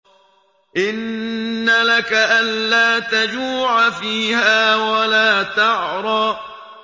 إِنَّ لَكَ أَلَّا تَجُوعَ فِيهَا وَلَا تَعْرَىٰ